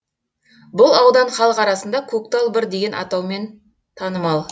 бұл аудан халық арасында көктал бір деген атаумен танымал